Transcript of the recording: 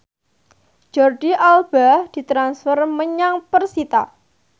Jordi Alba ditransfer menyang persita